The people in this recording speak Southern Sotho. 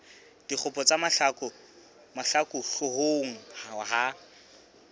dikgopo tsa mahlaku hloohong ya